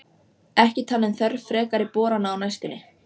Þeir samþykktu báðir og þau urðu samferða að sturtunum.